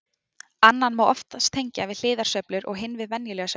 Annan má oftast tengja við hliðarsveiflur og hinn við venjulega sveiflu.